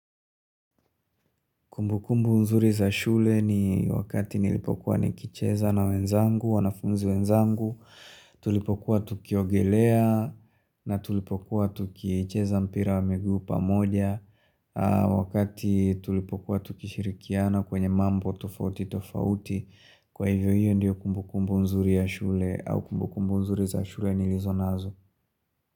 Kumbu kumbu nzuri za shule ni wakati nilipokuwa nikicheza na wenzangu, wanafunzi wenzangu, tulipokuwa tukiogelea, na tulipokuwa tukiecheza mpira wa miguu pamoja, wakati tulipokuwa tukishirikiana kwenye mambo tofauti tofauti, kwa hivyo hiyo ndiyo kumbukumbu mzuri za shule au kumbukumbu mzuri za shule nilizo nazo.